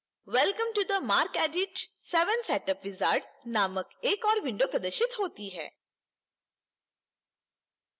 welcome to the marcedit 7 setup wizard नामक एक ओर window प्रदर्शित होती है